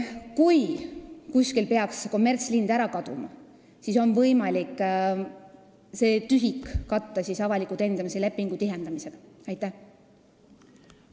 Kui kuskil peaksid kommertsliinid ära kaduma, siis on võimalik see tühimik katta avaliku teenindamise lepingu alusel töötavate liinide tihendamisega.